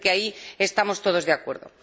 Parece que ahí estamos todos de acuerdo.